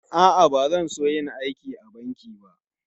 A'a, ba zan so yin aiki a banki ba.